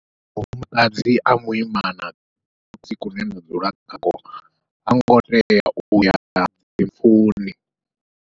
Mufumakadzi a muimana kusini kune nda dzula kha ko hango tea uya dzimpfuni.